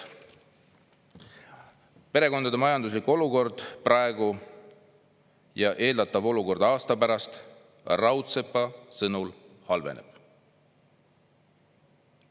Perekondade majanduslik olukord praegu ja eeldatav olukord aasta pärast on Raudsepa sõnul halvenev.